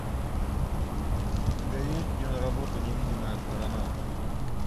у тебя есть киноработа невидимая сторона